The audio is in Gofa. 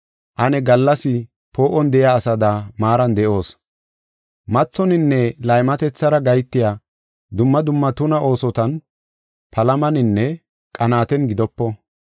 Ane gallas poo7on de7iya asada maaran de7oos. Mathoninne laymatethara gahetiya dumma dumma tuna oosotan, palamaninne qanaaten gidopo.